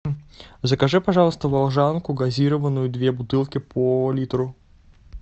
закажи пожалуйста волжанку газированную две бутылки по литру